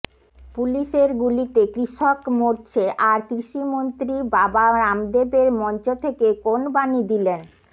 পুলিশের গুলিতে কৃষক মরছে আর কৃষিমন্ত্রী বাবা রামদেবের মঞ্চ থেকে কোন বাণী দিলেন